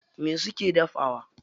Me suke dafawa?